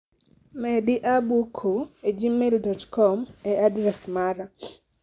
Medi abc e gmail, com e adres mara.